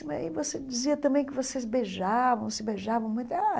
E você dizia também que vocês beijavam, se beijavam muito.